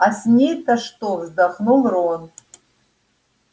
а с ней-то что вздохнул рон